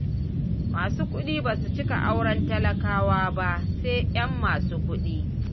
Masu kuɗi ba su cika auren talakawa ba, sai 'yan masu kuɗi.